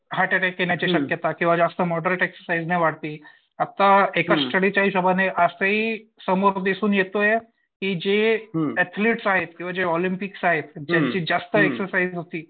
Hurt attack येण्याची शक्यता आणि किंवा जास्त एक्झरसाईझ ने वाढती. आत्ता एका स्टडीच्या हिशोबाने ही समोर दिसून येतोय की जे ऍथलिटस आहेत किंवा जे ऑलंम्पिक्स आहेत ज्याची जास्त एक्झरसाईझ होती